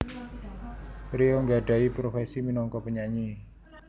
Rio nggadhahi profesi minangka penyanyi